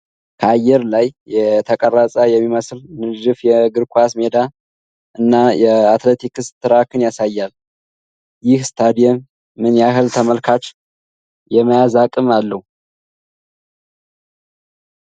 ከአየር ላይ የተቀረፀ የሚመስል ንድፍ የእግር ኳስ ሜዳ እና የአትሌቲክስ ትራክን ያሳያል። ይህ ስታዲየም ምን ያህል ተመልካች የመያዝ አቅም አለው?